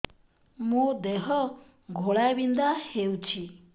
ମୋ ଦେହ ଘୋଳାବିନ୍ଧା ହେଉଛି